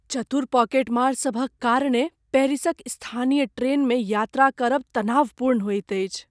चतुर पॉकेटमार सभक कारणेँ पेरिसक स्थानीय ट्रेनमे यात्रा करब तनावपूर्ण होइत अछि।